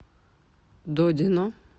додино